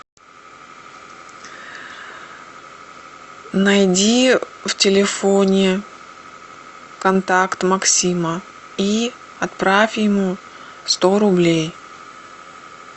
найди в телефоне контакт максима и отправь ему сто рублей